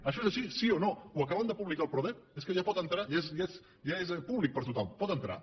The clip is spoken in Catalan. això és així sí o no ho acaben de publicar al prodep és que ja hi pot entrar ja és públic per a tothom hi pot entrar